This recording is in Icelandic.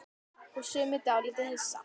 Og sumir dálítið hissa?